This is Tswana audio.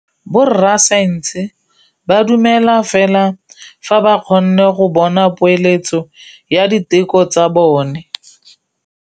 Borra saense ba dumela fela fa ba kgonne go bona poeletsô ya diteko tsa bone.